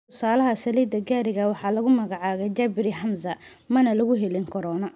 Tusaalaha saliidda gaariga waxaa lagu magacaabay Jabiri Hamza, mana lagu helin corona.